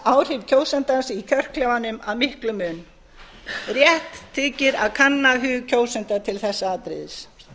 auka áhrif kjósandans í kjörklefanum að miklum mun rétt þykir að kanna hug kjósanda til þessa atriðis